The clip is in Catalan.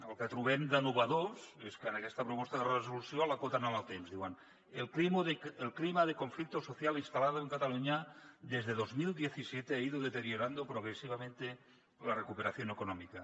el que trobem d’innovador és que en aquesta proposta de resolució l’acoten en el temps diuen el clima de conflicto social instalado en cataluña desde dos mil disset ha ido deteriorando progresivamente la recuperación económica